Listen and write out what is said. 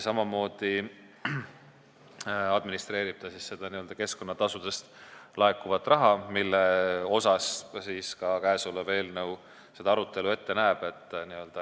Samamoodi administreerib ta seda keskkonnatasudest laekuvat raha, mis on käesoleva eelnõu arutelu teema.